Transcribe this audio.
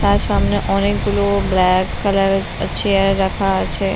তার সামনে অনকে গুলো ব্ল্যাক কালার -এর চেয়ার রাখা আছে--